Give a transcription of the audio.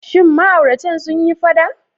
Shin ma'auratan sun yi faɗa?